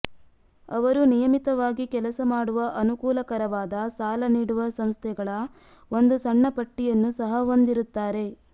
ಅವರು ನಿಯಮಿತವಾಗಿ ಕೆಲಸ ಮಾಡುವ ಅನುಕೂಲಕರವಾದ ಸಾಲ ನೀಡುವ ಸಂಸ್ಥೆಗಳ ಒಂದು ಸಣ್ಣ ಪಟ್ಟಿಯನ್ನು ಸಹ ಹೊಂದಿರುತ್ತಾರೆ